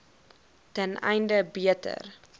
ten einde beter